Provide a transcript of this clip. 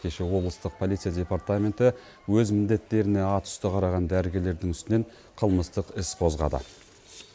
кеше облыстық полиция департаменті өз міндеттеріне атүсті қараған дәрігерлердің үстінен қылмыстық іс қозғады